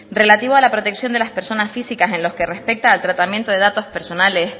relativo a la protección de las personas físicas en los que respecta al tratamiento de datos personales